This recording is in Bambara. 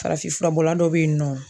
Farafinfurabɔla dɔ bɛ yen nɔ